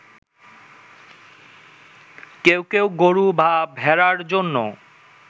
কেউ কেউ গরু বা ভেড়ার জন্য